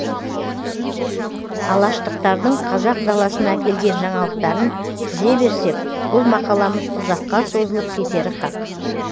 алаштықтардың қазақ даласына әкелген жаңалықтарын тізе берсек бұл мақаламыз ұзаққа созылып кетері хақ